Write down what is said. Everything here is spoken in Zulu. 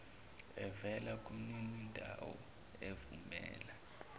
evela kumninindawo evumela